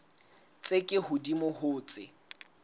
tse ka hodimo ho tse